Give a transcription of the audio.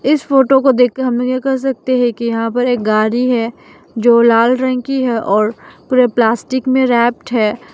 इस फोटो को देखके हमलोग यह कह सकते हैं कि यहां पर एक गाड़ी है जो लाल रंग की है और पूरे प्लास्टिक में रैप्ड है।